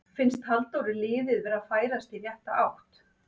Finnst Halldóri liðið vera að færast í rétta átt?